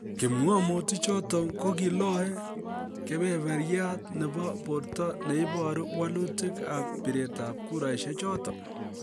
Kipng'omutik choton kogiloe "kebeberiat" nebo borto ne iboru wolutik ab biret ab kuraishechoton.